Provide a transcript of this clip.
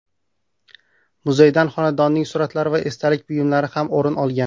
Muzeydan xonandaning suratlari va esdalik buyumlari ham o‘rin olgan.